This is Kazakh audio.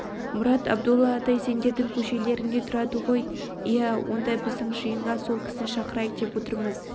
мұрат абдолла атай сендердің көшелеріңде тұрады ғой иә онда біздің жиынға сол кісіні шақырайық деп отырмыз